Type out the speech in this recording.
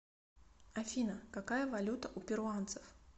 афина какая валюта у перуанцев